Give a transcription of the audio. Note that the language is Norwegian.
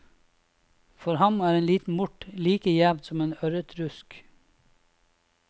For ham er en liten mort like gjevt som en ørretrusk.